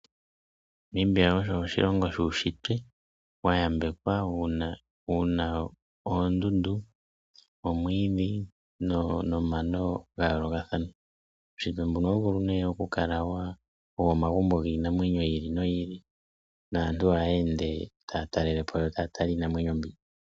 Namibia osho oshilongo shuushitwe wa yambekwa wuna oondundu, omwiidhi, nomano ga yoolokathana. Uushitwe mbuno ohawu vulu nee okukala owomagumbo giinamwenyo yi ili noyi ili naantu ohaya ende taya talelepo yo otaya tala iinamwenyo mbi.